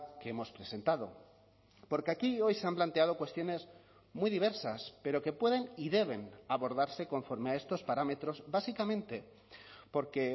que hemos presentado porque aquí hoy se han planteado cuestiones muy diversas pero que pueden y deben abordarse conforme a estos parámetros básicamente porque